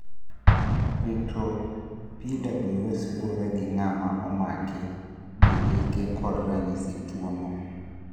Rito PWS luwore gi ng'ama omaki gi hike kod ranyisi tuo no